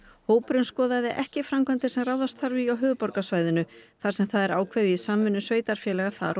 hópurinn skoðaði ekki framkvæmdir sem ráðast þarf í á höfuðborgarsvæðinu þar sem það er ákveðið í samvinnu sveitarfélaga þar og